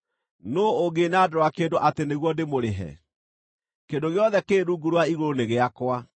Nũũ ũngĩnandũra kĩndũ atĩ nĩguo ndĩmũrĩhe? Kĩndũ gĩothe kĩrĩ rungu rwa igũrũ nĩ gĩakwa.